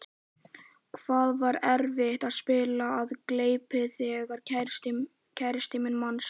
Það var erfitt að spila af gleði þegar kærastinn manns.